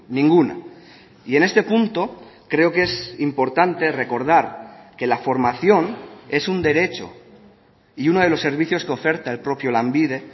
ninguna y en este punto creo que es importante recordar que la formación es un derecho y uno de los servicios que oferta el propio lanbide